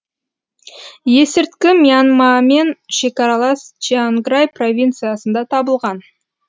есірткі мьянмамен шекаралас чианграй провинциясында табылған